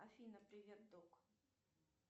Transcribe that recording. афина привет док